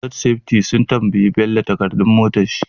Road safety sun tambayi bello takadar motar shi